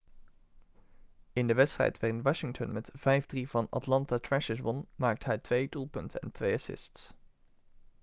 in de wedstrijd waarin washington met 5-3 van de atlanta thrashers won maakte hij 2 doelpunten en 2 assists